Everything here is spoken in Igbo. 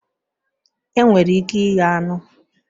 Enwere ike ighe anụ